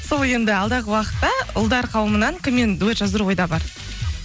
сол енді алдағы уақытта ұлдар қауымынан кіммен дуэт жаздыру ойда бар